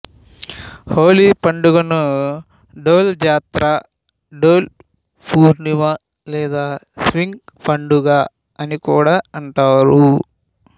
హోలీ పండగను డోల్ జాత్ర డోల్ పూర్ణిమ లేదా స్వింగ్ పండుగ అని కూడా అంటారు